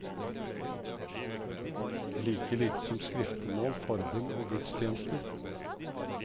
Like lite som skriftemål, forbønn og gudstjenester.